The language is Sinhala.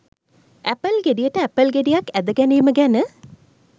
ඇපල් ගෙඩියට ඇපල් ගෙඩියක් ඇද ගැනීම ගැන